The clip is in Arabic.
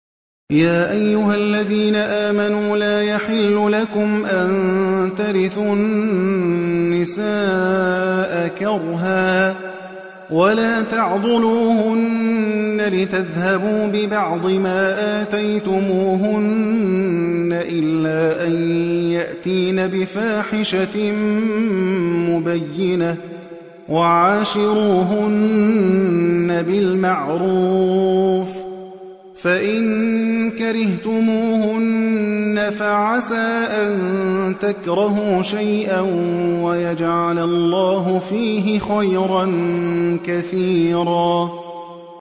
يَا أَيُّهَا الَّذِينَ آمَنُوا لَا يَحِلُّ لَكُمْ أَن تَرِثُوا النِّسَاءَ كَرْهًا ۖ وَلَا تَعْضُلُوهُنَّ لِتَذْهَبُوا بِبَعْضِ مَا آتَيْتُمُوهُنَّ إِلَّا أَن يَأْتِينَ بِفَاحِشَةٍ مُّبَيِّنَةٍ ۚ وَعَاشِرُوهُنَّ بِالْمَعْرُوفِ ۚ فَإِن كَرِهْتُمُوهُنَّ فَعَسَىٰ أَن تَكْرَهُوا شَيْئًا وَيَجْعَلَ اللَّهُ فِيهِ خَيْرًا كَثِيرًا